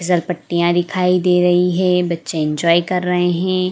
खिसार पट्टिया दिखाई दे रही है बच्चे एन्जॉय कर रहे है।